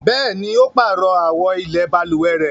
Bẹ̀ẹ́ni, ó páàrọ̀ àwo ilẹ̀ balùwẹ̀ rẹ.